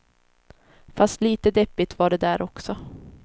Fast lite deppigt var det där också.